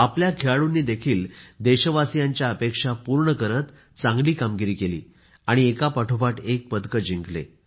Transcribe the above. आपल्या खेळाडूंनी देखील देशवासीयांच्या अपेक्षा पूर्ण करत चांगली कामगिरी केली आणि एका पाठोपाठ एक पदक जिंकले